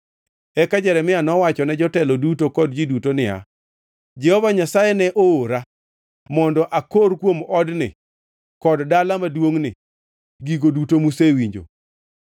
Eka Jeremia nowachone jotelo duto kod ji duto niya, “Jehova Nyasaye ne oora mondo akor kuom odni kod dala maduongʼni gigo duto musewinjo.